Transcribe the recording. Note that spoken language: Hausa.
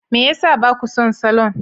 Me ya sa ba ku son salon?